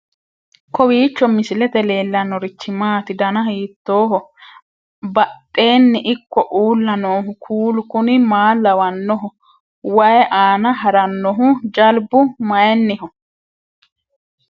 kowiicho misilete leellanorichi maati ? dana hiittooho ?abadhhenni ikko uulla noohu kuulu kuni maa lawannoho? wayi aana harannohu jalbu mayinniho